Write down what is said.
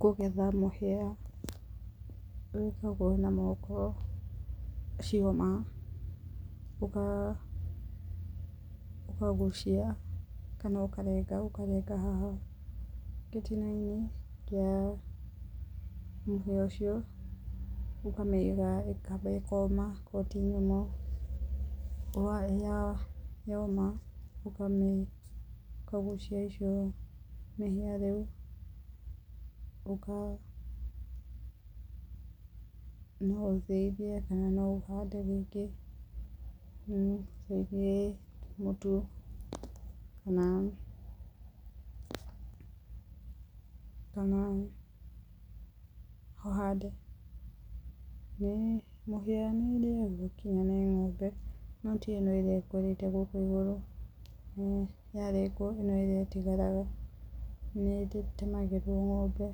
Kũgetha mũhĩa wĩkagwo na moko, ciaũma ũkagucia kana ũkarenga, ũkarenga haha gĩtina-inĩ kĩa mũhĩa ũcio, ũkamĩiga ĩkamba ĩkoma akorwo ti nyũmũ yoma ũkamĩ ũkagucia icio mĩhĩa rĩu, ũka pause no ũthĩithie kana no ũhande rĩngĩ. No ũthĩithie mũtu kana kana ũhande. Nĩ mũhĩra nĩĩrĩagwo kinya nĩ ng'ombe no ti ĩno ĩrĩa ĩkũrĩte gũkũ igũrũ, yarengwo ĩno ĩrĩa ĩtigaraga, nĩ ĩtemagĩrwo ng'ombe